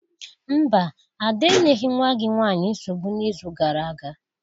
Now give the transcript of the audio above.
Mba, Ada enyeghị nwa gị nwanyị nsogbu n'izu gara aga.